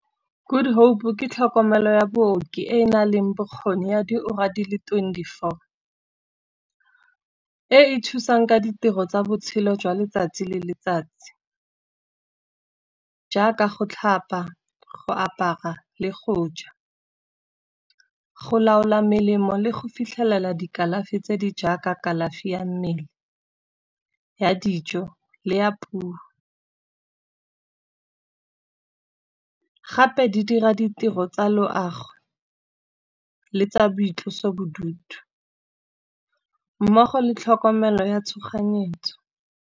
Good hope ke tlhokomelo ya booki e E nang le bokgoni ya diura di le twenty-four. E e thusang ka ditiro tsa botshelo jwa letsatsi le letsatsi, jaaka go tlhapa go apara le go ja. Go laola melemo le go fitlhelela dikalafi tse di jaaka kalafi ya mmele, ya dijo le ya puo. Gape di dira ditiro tsa loago le tsa boitlosobodutu, mmogo le tlhokomelo ya tshoganyetso.